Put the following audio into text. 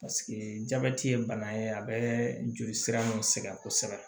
jabɛti ye bana ye a bɛ jolisira nun sɛgɛn kosɛbɛ